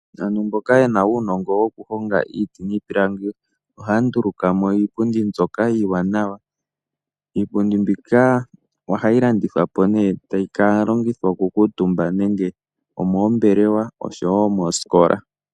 Aantu mboka ye na uunongo woku honga iiti niipilangi ohaya nduluka mo iipundi mbyoka iiwanawa. Iipundi mbika ohayi landithwa po nee, tayi ka longithwa oku kuutumba aantu nenge omoombelewa oshowo moosikola.